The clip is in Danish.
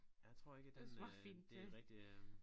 Jeg tror ikke at den øh det en rigtig øh